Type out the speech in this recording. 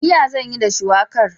Miya zan yi da shuwakar.